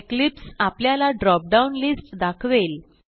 Eclipse आपल्याला drop down list दाखवेल